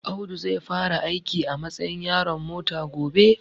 Audu zai fara aiki a matsayin yaron mota gobe